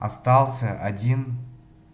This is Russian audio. остался один